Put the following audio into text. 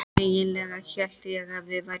Eiginlega hélt ég að við værum rík.